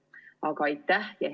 Aga aitäh!